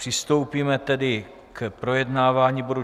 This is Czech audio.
Přistoupíme tedy k projednávání bodu